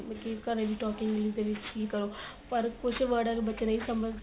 ਕੀ ਘਰੇ ਵੀ talking English ਦੇ ਵਿੱਚ ਹੀ ਕਰੋ ਪਰ ਕੁੱਝ word ਬੱਚੇ ਨਹੀਂ ਸਮਝਦੇ